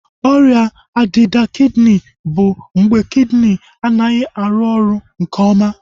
Ọrịa ọdịda kidini bụ mgbe kidini anaghị arụ oru nke oma